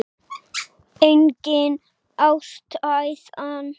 Engin ástæða?